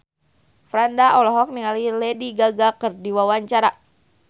Franda olohok ningali Lady Gaga keur diwawancara